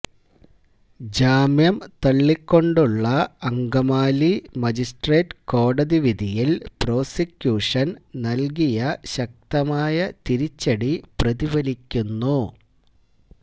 ജാമ്യം തള്ളിക്കൊണ്ടുള്ള അങ്കമാലി മജിസ്ട്രേറ്റ് കോടതി വിധിയില് പ്രോസിക്യൂഷന് നല്കിയ ശക്തമായ തിരിച്ചടി പ്രതിഫലിക്കുന്നു